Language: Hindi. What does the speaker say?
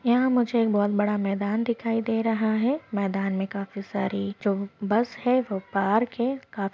यहा मुझे बहुत बडा मैदान दिखाई दे रहा है मैदान में काफी सारी जो बस है वो पार्क है। काफी--